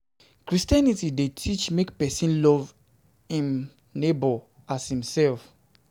de teach make person love im neivhbour as himself